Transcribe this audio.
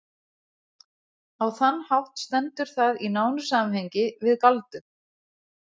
Á þann hátt stendur það í nánu samhengi við galdur.